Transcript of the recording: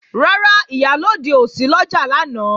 Rárá, Ìyálóde ò sí lọ́jà lánàá